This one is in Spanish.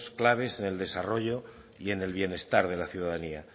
claves en el desarrollo y en el bienestar de la ciudadanía